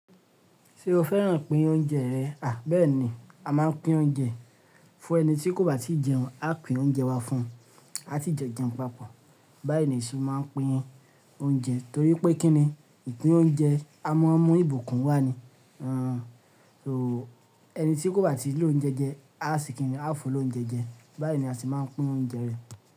Ṣé o fẹ́ràn pín oúnjẹ rẹ̀? À bẹ́ẹ̀ni a máa ń pín oúnjẹ fún ẹni tí kò bá tíì jẹun, a pín oúnjẹ wa fún un, a si jo jẹun papọ̀ báyìí ni a se máa n pín oúnjẹ torí pé kí ni ìpín oúnjẹ? A mọ mu ìbùkún wa ni, ẹni tí kò bá ti lòúnjẹ jẹ a se kí ni a fun lóúnjẹ jẹ, báyìí ni a se máa n pín oúnjẹ rẹ̀